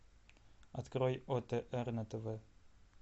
открой отр на тв